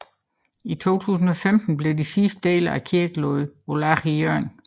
I 2015 blev de sidste dele af kirken lagt på lager i Hjørring